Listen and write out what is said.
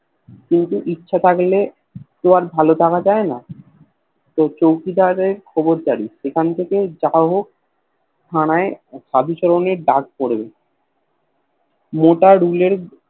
কিন্তু ইচ্ছে থাকলেই তো আর ভাল থাকা যায়না তো চৌকিদারের খবর দাড়ি সেখান থেকে যা হোক থানায় সাধুচরণের ডাক পরে মোটা রুলের